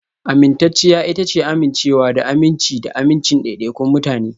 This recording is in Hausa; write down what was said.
Amintacciya ita ce amincewa da aminci da amincin daidaikun mutane